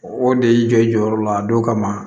O de y'i jɔ i jɔyɔrɔ la a don kama